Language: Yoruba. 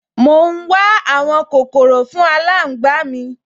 Mò ún wá àwọn kòkòrò fún aláǹgbá mi